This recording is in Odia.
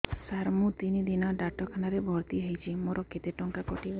ସାର ମୁ ତିନି ଦିନ ଡାକ୍ତରଖାନା ରେ ଭର୍ତି ହେଇଛି ମୋର କେତେ ଟଙ୍କା କଟିବ